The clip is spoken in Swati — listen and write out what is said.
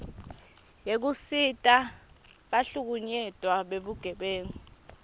yekusita bahlukunyetwa bebugebengu